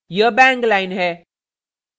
यह bang line है